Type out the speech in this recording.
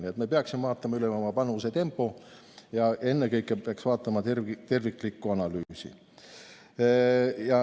Nii et me peaksime vaatama üle oma panustamise tempo ja ennekõike peaks vaatama terviklikku analüüsi.